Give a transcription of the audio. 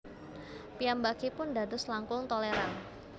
Piyambakipun dados langkung tolèran